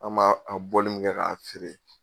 An b'a bɔli min kɛ k'a feere.